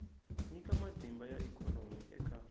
nyika matimba ya ikhonomi eka